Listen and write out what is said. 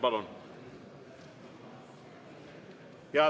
Palun!